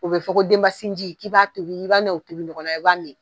O bɛ fɔ ko denbasinji k'i b'a tobi i'a n'o tobi ɲɔgɔn na i b'a min.